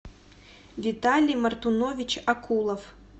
виталий мартунович акулов